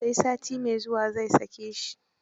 Sai sati mai zuwa zai sake shi.